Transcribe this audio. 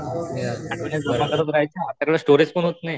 आपल्याकडं स्टोरेज पण होत नाही.